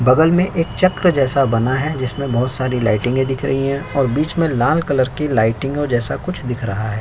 बगल में एक चक्र जैसा बना है जिसमें बहोत सारी लाइटिंगे दिख रही हैं और बीच में लाल कलर की लाइटिंगों जैसा कुछ दिख रहा हैं।